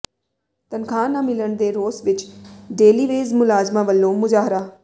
ਤਨਖਾਹ ਨਾ ਮਿਲਣ ਦੇ ਰੋਸ ਵਜੋਂ ਡੇਲੀਵੇਜ ਮੁਲਾਜ਼ਮਾਂ ਵੱਲੋਂ ਮੁਜ਼ਾਹਰਾ